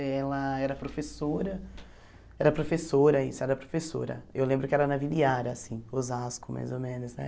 Ela era professora era professora isso era professora, eu lembro que era na Vila Iara assim, Osasco, mais ou menos né.